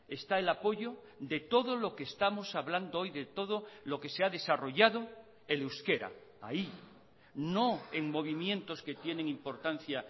está el apoyo de todo lo que estamos hablando hoy de todo lo que se ha desarrollado el euskera ahí no en movimientos que tienen importancia